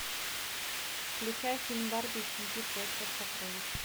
включай фильм барби и щенки в поисках сокровищ